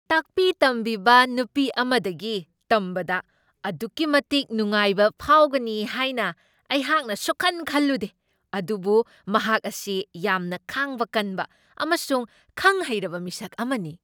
ꯇꯥꯛꯄꯤ ꯇꯝꯕꯤꯕ ꯅꯨꯄꯤ ꯑꯃꯗꯒꯤ ꯇꯝꯕꯗ ꯑꯗꯨꯛꯀꯤ ꯃꯇꯤꯛ ꯅꯨꯡꯉꯥꯏꯕ ꯐꯥꯎꯒꯅꯤ ꯍꯥꯏꯅ ꯑꯩꯍꯥꯛꯅ ꯁꯨꯛꯈꯟ ꯈꯜꯂꯨꯗꯦ, ꯑꯗꯨꯕꯨ ꯃꯍꯥꯛ ꯑꯁꯤ ꯌꯥꯝꯅ ꯈꯥꯡꯕ ꯀꯟꯕ ꯑꯃꯁꯨꯡ ꯈꯪ ꯍꯩꯔꯕ ꯃꯤꯁꯛ ꯑꯃꯅꯤ ꯫